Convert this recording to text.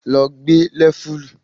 Lọ gbá Lẹ́vùlì!